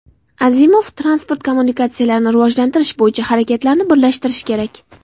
Azimov: transport kommunikatsiyalarini rivojlantirish bo‘yicha harakatlarni birlashtirish kerak.